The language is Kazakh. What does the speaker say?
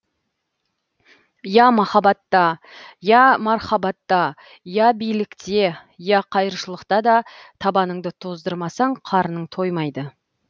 я махаббатта я мархабатта я билікте я қайыршылықта да табаныңды тоздырмасаң қарының тоймайды